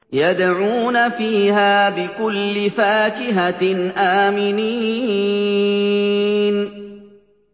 يَدْعُونَ فِيهَا بِكُلِّ فَاكِهَةٍ آمِنِينَ